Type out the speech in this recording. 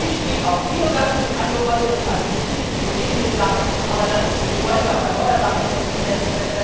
Natürlich spielt auch Biogas eine Rolle, das hatte die finnische Kollegin gesagt, aber wir wollen ja auf erneuerbare Energie setzen.